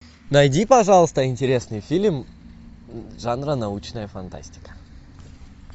найди пожалуйста интересный фильм жанра научная фантастика